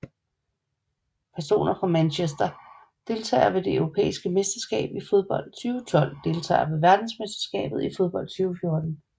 Personer fra Manchester Deltagere ved det europæiske mesterskab i fodbold 2012 Deltagere ved verdensmesterskabet i fodbold 2014